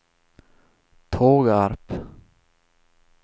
Tågarp